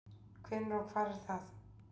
Hvenær og hvar var það?